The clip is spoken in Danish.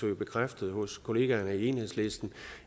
det bekræftet hos kollegaerne i enhedslisten